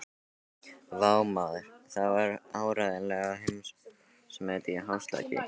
Vá, maður, það var áreiðanlega heimsmet í hástökki.